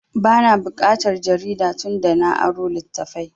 Ba na buƙatar jarida tun da na aro littattafai